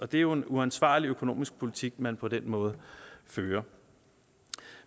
det er jo en uansvarlig økonomisk politik man på den måde fører